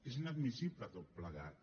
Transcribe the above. és inadmissible tot plegat